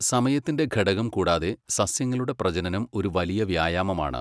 സമയത്തിന്റെ ഘടകം കൂടാതെ, സസ്യങ്ങളുടെ പ്രജനനം ഒരു വലിയ വ്യായാമമാണ്.